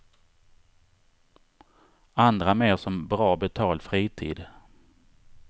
Andra mer som bra betald fritid.